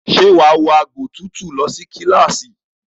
Ṣe wàá wọ agbòtútù lọ sí kíláàsì?